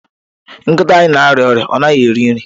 Nkịta anyị na-arịa ọrịa, ọ naghị eri nri.